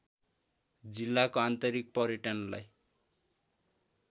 जिल्लाको आन्तरिक पर्यटनलाई